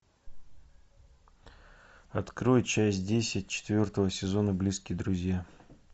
открой часть десять четвертого сезона близкие друзья